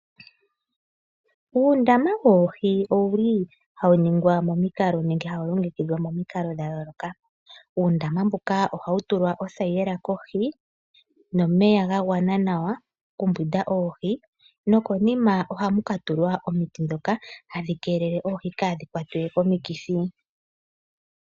Uundama woohi owu li hawu ningwa momikalo nenge hawu longekidhwa momikalo dha yooloka. Uundama mbuka oha wu tulwa othayila kohi nomeya ga gwana nawa okumbwinda oohi nokonima oha mu katulwa omiti ndhoka hadhi keelele oohi kaadhi kwatwe komikithi.